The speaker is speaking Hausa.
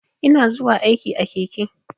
Ina zuwa aiki a keke.